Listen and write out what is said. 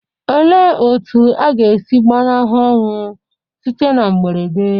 Olee otú a ga-esi gbanahụ ọnwụ site na mberede?